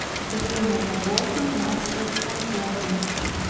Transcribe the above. время работы мастер сантехник